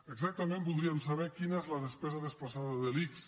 exactament voldríem saber quina és la despesa desplaçada de l’ics